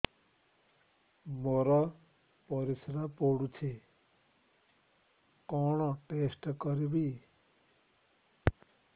ମୋର ପରିସ୍ରା ପୋଡୁଛି କଣ ଟେଷ୍ଟ କରିବି